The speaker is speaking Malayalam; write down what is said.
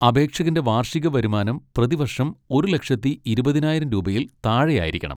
അപേക്ഷകന്റെ വാർഷിക വരുമാനം പ്രതിവർഷം ഒരു ലക്ഷത്തി ഇരുപതിനായിരം രൂപയിൽ താഴെയായിരിക്കണം.